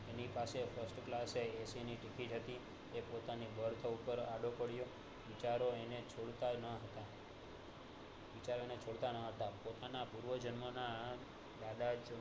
એની પાસે first class AC ની ticket હતી એ પોતાની birth ઉપર આડો પડ્યો બિચારા ને છોડતા ન હતા પોતાના પૂર્વ જન્મ ના